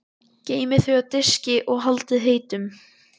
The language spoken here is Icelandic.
Geymið þau á diski og haldið heitum.